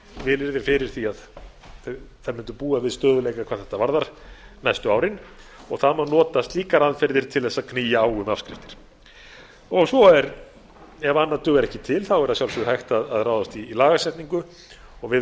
vilyrði fyrir því að þær mundu búa við stöðugleika næstu árin og það má nota slíkar aðgerðir til að knýja á um afskriftir og ef annað dugar ekki til þá er að sjálfsögðu hægt að ráðast í lagasetningu og a